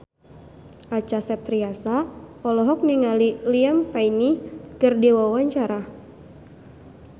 Acha Septriasa olohok ningali Liam Payne keur diwawancara